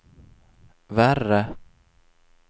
värre